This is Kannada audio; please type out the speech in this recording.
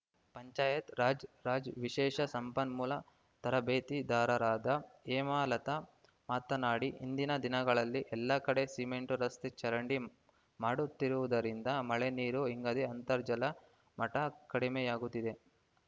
ಪಂಚಾಯತ್‌ರಾಜ್‌ ರಾಜ್‌ ವಿಶೇಷ ಸಂಪನ್ಮೂಲ ತರಬೇತಿದಾರರಾದ ಹೇಮಲತಾ ಮಾತನಾಡಿ ಇಂದಿನ ದಿನಗಳಲ್ಲಿ ಎಲ್ಲಾ ಕಡೆ ಸಿಮೆಂಟ ರಸ್ತೆ ಚರಂಡಿ ಮಾಡುತ್ತಿರುವುದರಿಂದ ಮಳೆ ನೀರು ಇಂಗದೆ ಅಂತರ್ಜಲ ಮಟ್ಟಕಡಿಮೆಯಾಗುತ್ತಿದೆ